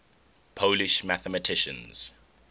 polish mathematicians